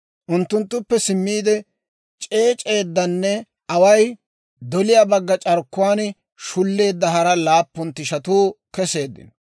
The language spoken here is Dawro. Unttunttuppe simmiide, c'eec'c'edanne away doliyaa bagga c'arkkuwaan shulleedda hara laappun tishatuu keseeddino.